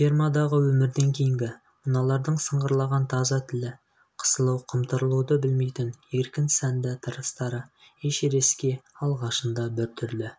фермадағы өмірден кейінгі мыналардың сыңғырлаған таза тілі қысылу-қымтырылуды білмейтін еркін сәнді тырыстары эшерестке алғашында біртүрлі